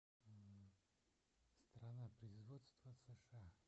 страна производства сша